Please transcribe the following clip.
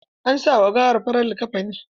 An sa ma gawan farar liƙafani.